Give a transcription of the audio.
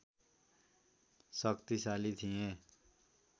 शक्तिशाली थिए